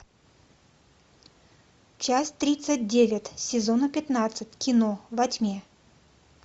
часть тридцать девять сезона пятнадцать кино во тьме